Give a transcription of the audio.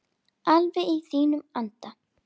Alveg í þínum anda.